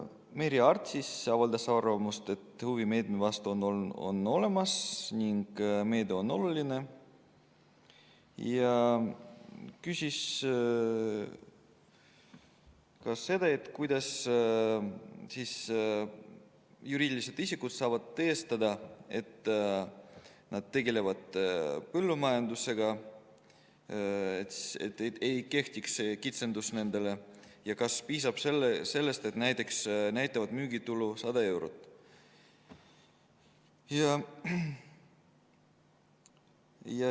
Merry Aart avaldas arvamust, et huvi meetme vastu on olemas ning meede on oluline, ja küsis, kuidas juriidilised isikud saavad tõestada, et nad tegelevad põllumajandusega, nii et neile ei kehtiks see kitsendus, ja kas piisab sellest, et nad näitavad müügitulu näiteks 100 eurot.